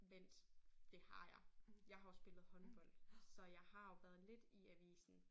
Vent det har jeg. Jeg har jo spillet håndbold så jeg har jo været lidt i avisen